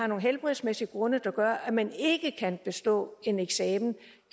nogle helbredsmæssige grunde der gør at man ikke kan bestå en eksamen